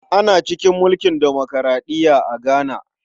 Ana cikin mulkin demokuraɗiya a Ghana.